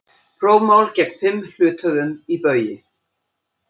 Prófmál gegn fimm hluthöfum í Baugi